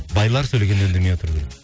байлар сөйлегенде үндемей отыру керек